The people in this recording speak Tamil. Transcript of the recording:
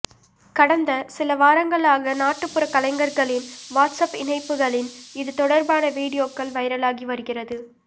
கடந்த சில வாரங்களாக நாட்டுபுற கலைஞர்களின் வாட்சாப் இணைப்புகளின் இதுதொடர்பான வீடியோக்கள் வைரலாகிவருகிறது